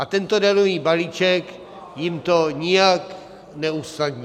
A tento daňový balíček jim to nijak neusnadní.